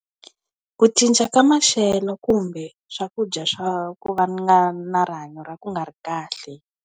Ku cinca ka maxelo kumbe swakudya swa ku va na na rihanyo ra ku nga ri kahle.